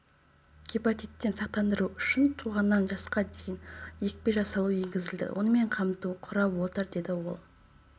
гепатиттен сақтандыру үшін туғаннан жасқа дейін екпе жасау енгізілді онымен қамту құрап отыр деді ол